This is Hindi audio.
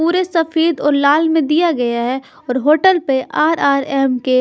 पूरे सफेद और लाल में दिया गया है और होटल पे आर_आर_एम_के --